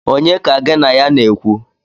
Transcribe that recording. Onye ka gin a ya na-ekwu?